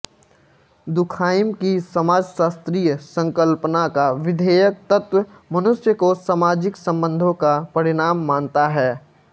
Durkheim की समाजशास्त्रीय संकल्पना का विधेयक तत्त्व मनुष्य को सामाजिक संबंधों का परिणाम मानता है